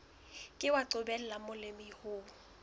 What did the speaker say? ke wa qobella molemi ho